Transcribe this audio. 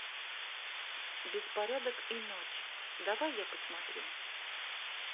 беспорядок и ночь давай я посмотрю